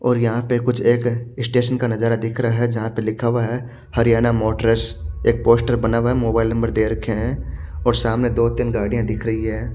और यहां पे कुछ एक स्टेशन का नजारा दिख रहा है जहां पे लिखा हुआ है हरियाणा मोटरस एक पोस्टर बना हुआ है मोबाइल नंबर दे रखे हैं और सामने दो तीन गाड़ियां दिख रही है।